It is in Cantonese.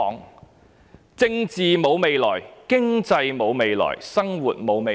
我們的政治沒有未來、經濟沒有未來、生活沒有未來。